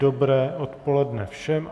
Dobré odpoledne všem.